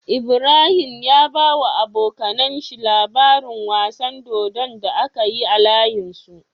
Ibrahim ya bawa abokAnan shi labarin wasan dodon da akayi a layin su